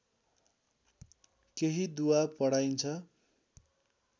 केही दुआ पढाइन्छ